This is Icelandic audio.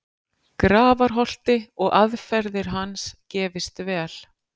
Grafarholti og aðferðir hans gefist vel.